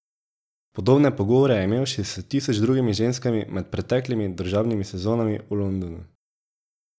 Podobne pogovore je imel že s tisoč drugimi ženskami, med preteklimi družabnimi sezonami v Londonu.